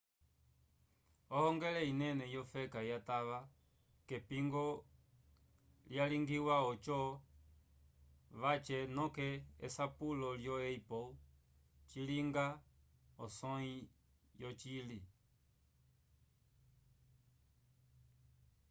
ohongele inene yofeka yatava k'epingo lyalingiwa oco vace noke esapulo lyo apple cilinga osõyi yocili